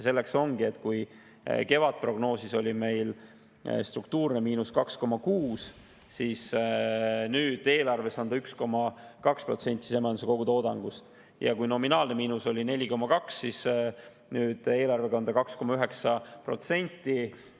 Kui kevadprognoosi järgi oleks meil struktuurne miinus olnud 2,6%, siis nüüd eelarvega on see 1,2% sisemajanduse kogutoodangust, ja kui nominaalne miinus oleks olnud 4,2%, siis nüüd eelarvega on 2,9%.